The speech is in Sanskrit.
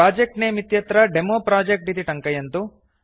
प्रोजेक्ट् नमे इत्यत्र डेमोप्रोजेक्ट् इति टङ्कयन्तु